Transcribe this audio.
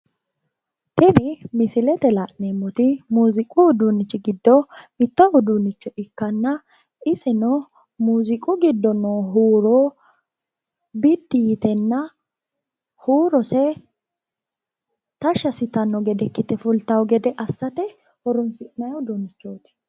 Tini misilete la'neemmoti muziiqu uduunnichi giddo mitto uduunnicho ikkanna iseno muuziiqu giddo noo huuro biddi yitenna huurose tashshi assitanno gede ikkite fulatawo gede assate horonsi'neemmo uduunnichooti.